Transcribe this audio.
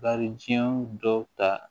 Bari jiɲɛ dɔw ta